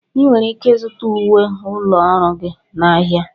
Ị nwere ike ịzụta uwe ụlọ ọrụ gị n'ahịa.